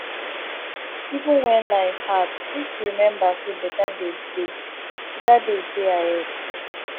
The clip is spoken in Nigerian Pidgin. even wen life hard make you rememba say beta days dey beta days dey ahead